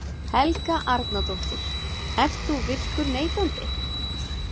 Helga Arnardóttir: Ert þú virkur neytandi?